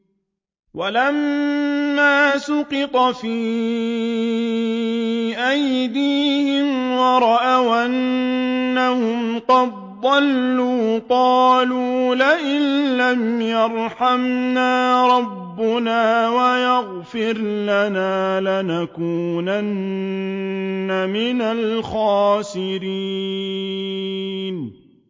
وَلَمَّا سُقِطَ فِي أَيْدِيهِمْ وَرَأَوْا أَنَّهُمْ قَدْ ضَلُّوا قَالُوا لَئِن لَّمْ يَرْحَمْنَا رَبُّنَا وَيَغْفِرْ لَنَا لَنَكُونَنَّ مِنَ الْخَاسِرِينَ